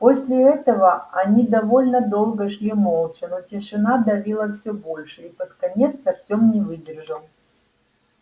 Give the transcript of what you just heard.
после этого они довольно долго шли молча но тишина давила всё больше и под конец артём не выдержал